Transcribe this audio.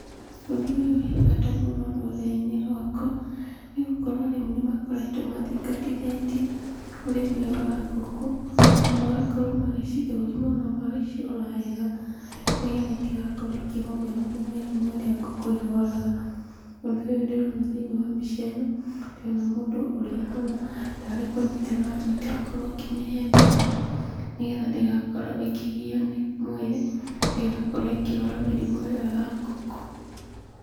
Ũndũ ũyũ wĩ bata mũno rũrĩrĩ-inĩ rwakwa, nĩ gũkorwo arĩmi nĩmakoretwo mathingatithĩtie ũrĩmi ũyũ wa ngũkũ na magakorwo magĩcithũrima ona magagĩcirora wega nĩgetha itigakorwo ikĩgũmĩrwo nĩ mĩrimũ ĩrĩa ngũkũ irwaraga. Ũndũ ũyũ ndĩrona thĩiniĩ wa mbica ĩno ndĩrona mũndũ ũrĩa ahana tarĩ kũnyita aranyita akorwo akĩmĩhe ndawa nĩgetha ndĩgakorwo ikĩgiywo nĩ mwĩrĩ, ndĩgakorwo ĩkĩrwara mĩrimũ ĩyo ya ngũkũ.